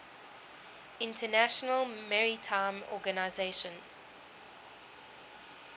international maritime organization